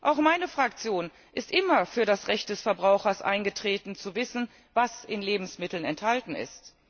Auch meine Fraktion ist immer für das Recht des Verbrauchers eingetreten, zu wissen, was in Lebensmitteln enthalten ist.